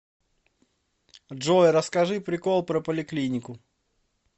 джой расскажи прикол про поликлинику